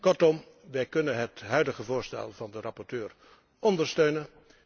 Kortom, wij kunnen het huidige voorstel van de rapporteur ondersteunen.